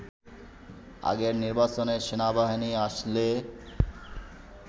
আগের নির্বাচনে সেনাবাহিনী আসলে